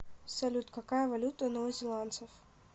салют какая валюта у новозеландцев